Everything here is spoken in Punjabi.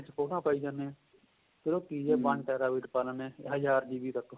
ਫੋਟੋਆਂ ਪਾਈ ਜਾਣੇ ਹਾਂ ਫ਼ੇਰ ਉਹ ਕੀ ਏਹ one terabyte ਪਾਂ ਲਿੰਦੇ ਹਾਂ ਹਜ਼ਾਰ GB ਤੱਕ